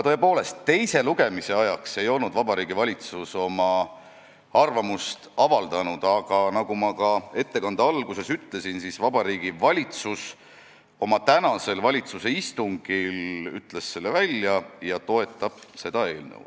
Tõepoolest, teise lugemise ajaks ei olnud Vabariigi Valitsus oma arvamust avaldanud, aga nagu ma oma ettekande alguses ütlesin, ütles Vabariigi Valitsus oma tänasel istungil selle välja ja toetab seda eelnõu.